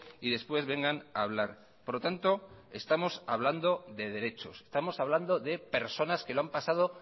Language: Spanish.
y después vengan a hablar por lo tanto estamos hablando de derechos estamos hablando de personas que lo han pasado